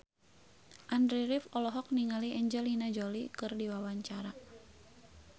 Andy rif olohok ningali Angelina Jolie keur diwawancara